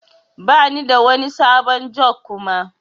Bani da wani sabon jug Kuma.